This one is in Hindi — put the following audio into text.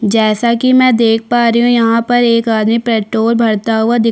जैसा कि मैं देख पा रही हूँ यहाँ पर एक आदमी पेट्रोल भरता हुआ दिख--